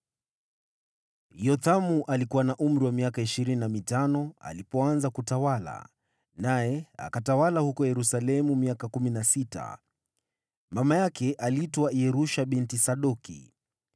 Yothamu alikuwa na umri wa miaka ishirini na mitano alipoanza kutawala, naye akatawala huko Yerusalemu miaka kumi na sita. Mama yake aliitwa Yerusha binti Sadoki.